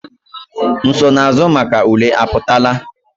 Nsonaazụ maka ule apụtala?